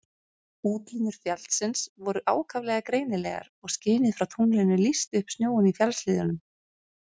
Útlínur fjallsins voru ákaflega greinilegar og skinið frá tunglinu lýsti upp snjóinn í fjallshlíðunum.